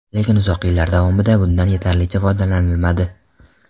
Lekin uzoq yillar davomida bundan yetarlicha foydalanilmadi.